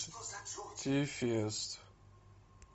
ти фест